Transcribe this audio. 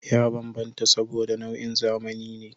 Ya bambanta saboda, nau'in zamani ne